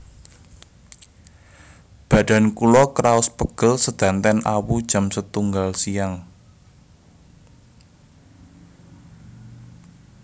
Badan kulo kraos pegel sedanten awu jam setunggal siang